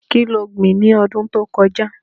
Kí lo gbìn ní ọdún tí ó kọjá?